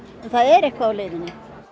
það er eitthvað á leiðinni